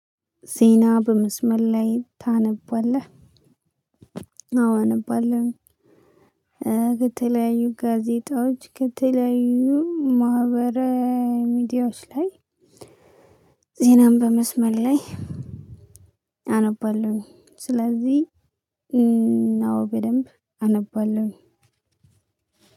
ዜና በመስመር ላይ ታነባለህ? አዎ አነባለሁ። ከተለያዩ ጋዜጣዎች፣ ከተለያዩ ማህበረ ሚዲያዎች ላይ ዜናን በመስመር ላይ አነባለሁኝ። ስለዚህ ነው በደንብ አነባለሁኝ።